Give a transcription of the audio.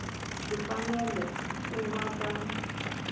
ti fanele ku va ta